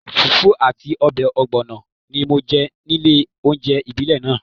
Fùfú àti ọbẹ̀ ọ̀gbọ̀nọ̀ ni mo jẹ nílé oúnjẹ ìbílẹ̀ náà